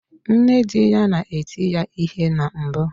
Nna di ya na-eti ya ihe na mbụ.